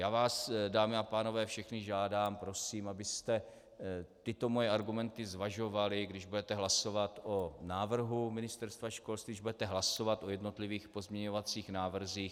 Já vás, dámy a pánové, všechny žádám, prosím, abyste tyto moje argumenty zvažovali, když budete hlasovat o návrhu Ministerstva školství, když budete hlasovat o jednotlivých pozměňovacích návrzích.